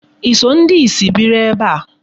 I so ndị ìsì biri ebe a?